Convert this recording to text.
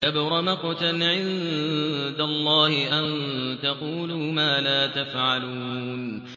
كَبُرَ مَقْتًا عِندَ اللَّهِ أَن تَقُولُوا مَا لَا تَفْعَلُونَ